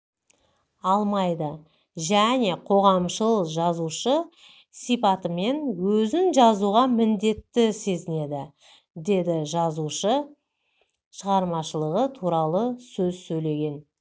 алмайды және қоғамшыл жазушы сипатымен өзін жазуға міндетті сезінеді деді жазушы шығармашылығы туралы сөз сөйлеген